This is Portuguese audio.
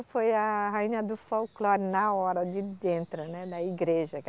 Foi a rainha do folclore na hora, ali dentro, né da igreja.